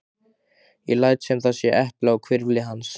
Ég læt sem það sé epli á hvirfli hans.